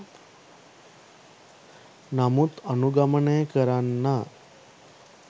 තමුන් අනුගමනය කරන්නා